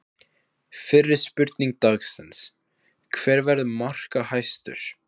Fyrri spurning dagsins: Hver verður markahæstur?